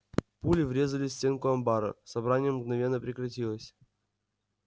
пули врезались в стенку амбара собрание мгновенно прекратилось